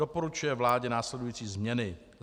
Doporučuje vládě následující změny: